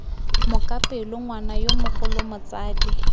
mokapelo ngwana yo mogolo motsadi